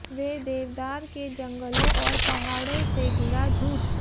वे देवदार के जंगलों और पहाड़ों से घिरा झूठ